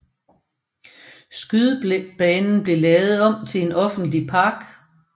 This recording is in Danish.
Skydebanen blev lavet om til en offentlig park